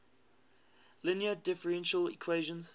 linear differential equation